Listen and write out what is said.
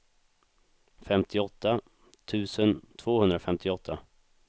femtioåtta tusen tvåhundrafemtioåtta